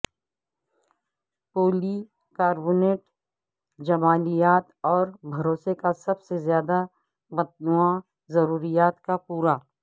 پولی carbonate جمالیات اور بھروسے کا سب سے زیادہ متنوع ضروریات کو پورا